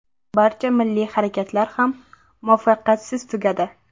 Barcha milliy harakatlar ham muvaffaqiyatsiz tugadi.